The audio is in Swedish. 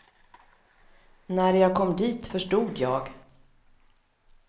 När jag kom dit förstod jag.